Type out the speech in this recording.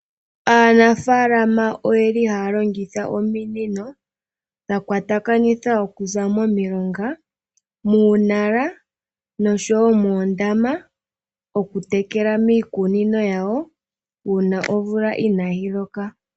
Aanafalama oye li haya longitha ominino dha kwatakanithwa okuza momilonga, muunala noshowo moondama, okutekela miikunino yawo uuna omvula inaayi loka.